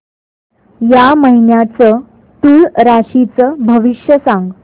या महिन्याचं तूळ राशीचं भविष्य सांग